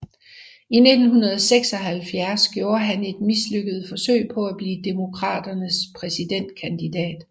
I 1976 gjorde han et mislykket forsøg på at blive Demokraternes præsidentkandidat